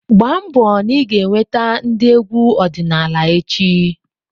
gbaa mbọ na ị ga-eweta ndị egwu ọdịnala echi!